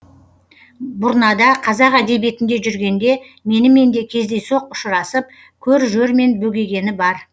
бұрнада қазақ әдебиетінде жүргенде менімен де кездейсоқ ұшырасып көр жермен бөгегені бар